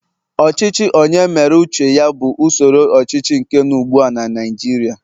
ochichi onye mere uche ya bu usoro ochichi nke no ugbua na Naijiria